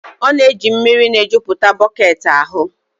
ọ na-eji mmiri na-ejupụta bọket ahụ